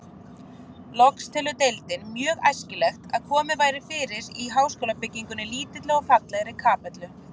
Loks telur deildin mjög æskilegt, að komið væri fyrir í háskólabyggingunni lítilli og fallegri kapellu.